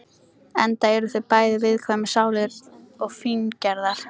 Enda eru þau bæði viðkvæmar sálir og fíngerðar.